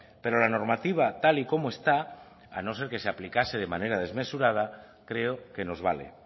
pero la normativa tal y como está a no ser que se aplicase de manera desmesurada creo que nos vale